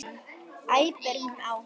æpir hún á hann.